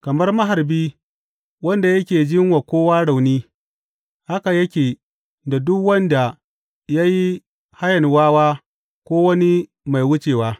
Kamar maharbi wanda yake jin wa kowa rauni haka yake da duk wanda ya yi hayan wawa ko wani mai wucewa.